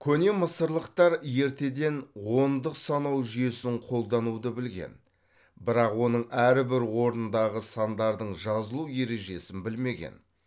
көне мысырлықтар ертеден ондық санау жүйесін қолдануды білген бірақ оның әрбір орындағы сандардың жазылу ережесін білмеген